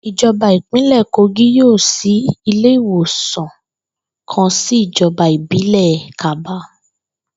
Ìjo̩ba ìpínlè̩ Kogí yóò s̩í ilé ìwòsàn kan sí ìjo̩ba ìbílè̩ Kabba